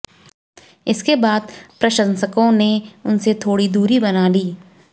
इसके बाद प्रशंसकों ने उनसे थोड़ी दुरी बना ली